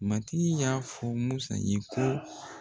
Matigi y'a fɔ Musa ye ko